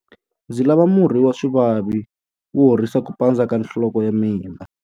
Ndzi lava murhi wa swivavi wo horisa ku pandza ka nhloko ya mina.